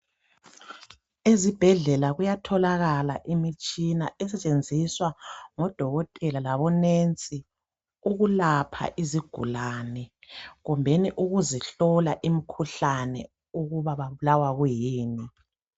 Ezibhedlela kuyatholakala imitshina esetshenziswa ngodokotela labonensi ukulapha izigulane, kumbeni ukuzihlola imkhuhlane ukuba babulawa kuyini.